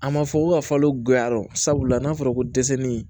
A ma fɔ k'u ka falo guyarɔ sabula n'a fɔra ko dɛsɛ ni